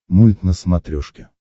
мульт на смотрешке